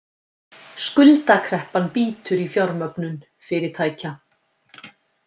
Skuldakreppan bítur í fjármögnun fyrirtækja